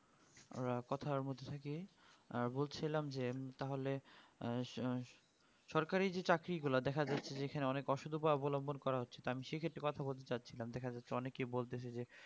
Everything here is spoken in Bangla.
কথার মধ্যে দিয়ে আহ বলছিলাম যে তাহলে আ সো সরকারি যে চাকরি গলা দেখা যাচ্ছে যেকানে অনেক অসৎ উপায় অবলম্বন করা হচ্ছে তা আমি সে ক্ষেত্রে কথা বলতে চাচ্ছি না অনেকেই বলতো যে